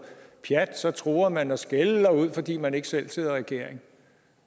pjat så truer man og skælder ud fordi man ikke selv sidder i regering